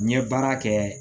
N ye baara kɛ